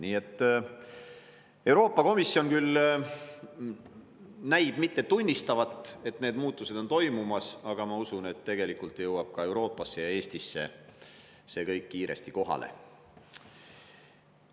Nii et Euroopa Komisjon küll näib mitte tunnistavat, et need muutused on toimumas, aga ma usun, et tegelikult jõuab ka Euroopasse ja Eestisse see kõik kiiresti kohale.